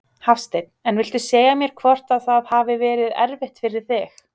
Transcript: Hafsteinn: En viltu segja mér hvort að það hafi verið erfitt fyrir þig?